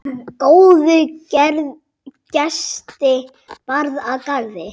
Góða gesti bar að garði.